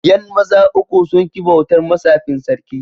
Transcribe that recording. Yan maza uku sun ki bautar ma tsafin Sarkin.